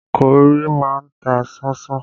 Kọ́rì má ń ta sánsán